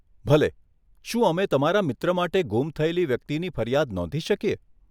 ભલે, શું અમે તમારા મિત્ર માટે ગુમ થયેલી વ્યક્તિની ફરિયાદ નોંધી શકીએ?